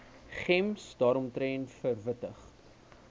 gems daaromtrent verwittig